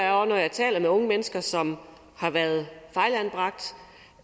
er når jeg taler med unge mennesker som har været fejlanbragt